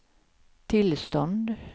tillstånd